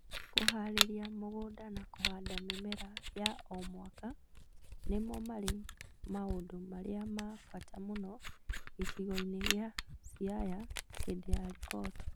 Kũhaarĩria mũgũnda na kũhanda mĩmera ya o mwaka nĩmo marĩ maũndũ marĩa ma bata mũno gĩcigo-inĩ kĩa Siaya hĩndĩ ya riboti